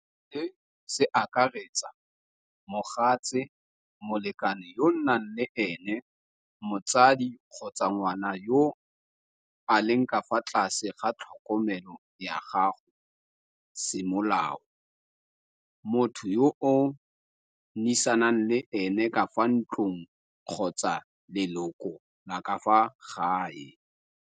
Se se akaretsa mogatse, molekane yo nnang le ene mots di kgotsa ngwana yo a leng ka fa tlase ga tlhokomelo ya gago semolao, motho yo o nnisang le ene ka fa ntlong kgotsa leloko la ka fa gae.